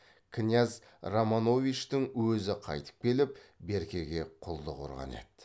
кіняз романовичтің өзі қайтып келіп беркеге құлдық ұрған еді